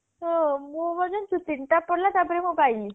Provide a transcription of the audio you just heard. ହଁ ମୁଁ ବୋଧେ ସେ ତିନିଟା ପଡିଲା ମୁଁ ପାଇଲି